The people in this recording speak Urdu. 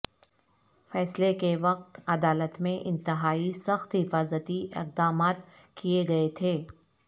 فیصلہ کے وقت عدالت میں انتہائی سخت حفاظتی اقدامات کیئے گئے تھے